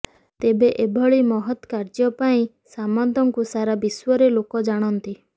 ତେବେ ଏଭଳି ମହତ୍ କାର୍ଯ୍ୟ ପାଇଁ ସାମନ୍ତଙ୍କୁ ସାରା ବିଶ୍ୱରେ ଲୋକ ଜାଣନ୍ତି